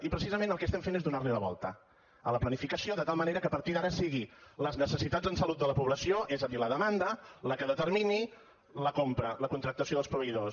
i precisament el que estem fent és donar la volta a la planificació de tal manera que a partir d’ara siguin les necessitats en salut de la població és a dir la demanda el que determini la compra la contractació dels proveïdors